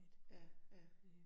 Ja, ja